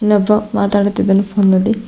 ಇಲ್ಲಿ ಒಬ್ಬ ಮಾತಾಡುತ್ತಿದ್ದಾನೆ ಫೋನ್ ನಲ್ಲಿ--